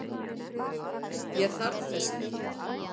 Ég þarf þess ekki.